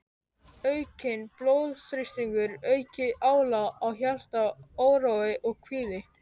Aukinn blóðþrýstingur, aukið álag á hjarta, órói og kvíði.